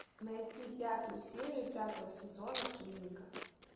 найти пятую серию пятого сезона клиника